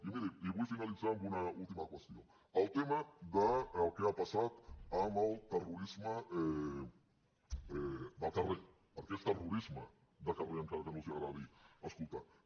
i miri vull finalitzar amb una última qüestió el tema del que ha passat amb el terrorisme de carrer perquè és terrorisme de carrer encara que no els agradi escoltar ho